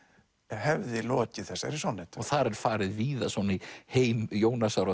hefði lokið þessari sonnettu þar farið víða í heim Jónasar og